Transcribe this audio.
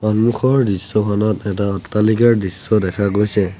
সন্মুখৰ দৃশ্যখনত এটা অট্টালিকাৰ দৃশ্য দেখা গৈছে।